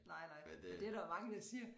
Nej nej men det er der jo mange der siger